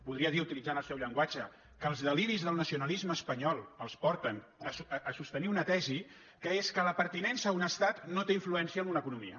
podria dir utilitzant el seu llenguatge que els deliris del nacionalisme espanyol els porten a sostenir una tesi que és que la pertinença a un estat no té influència en una economia